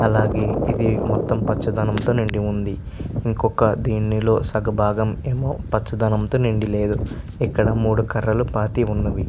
అలాగే ఇది సగం పచ బాగం తో నిండి వున్న్నది .ఇంకొకధినిలో సగం పచ బాగం తో నిండి లేదు ఇక్క్కడ మూడు కార్లు పతి వున్నవి.